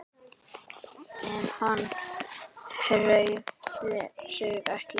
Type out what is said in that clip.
En hann hreyfði sig ekki.